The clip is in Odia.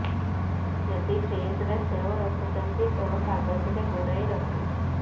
ଯଦି ଫ୍ରିଜରେ ସେଓ ରଖୁଛନ୍ତି ତ କାଗଜରେ ଗୁଡାଇ ରଖନ୍ତୁ